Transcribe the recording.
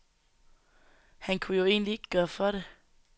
Han kunne jo egentlig ikke gøre for det.